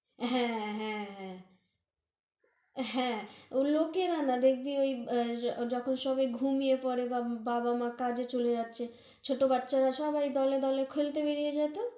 হ্যাঁ, হ্যাঁ, হ্যাঁ হ্যাঁ, ওই লোকেরা না, দেখবি ওই এ যখন সবে ঘুমিয়ে পরে বা বাবা মা কাজে চলে যাচ্ছে, ছোটো বাচ্চারা সবাই দলে দলে খেলতে বেরিয়ে যায় তহ